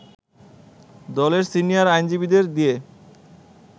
দলের সিনিয়র আইনজীবীদের দিয়ে